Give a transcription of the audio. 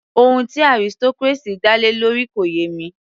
Ohun tí aristocracy dá lé lórí kò yé mi